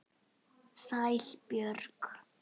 Sæl Björg.